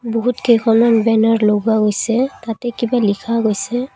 বহুত কেইখনমান বেনাৰ লগোৱা হৈছে তাতে কিবা লিখা গৈছে।